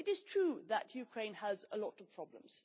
It is true that Ukraine has a lot of problems.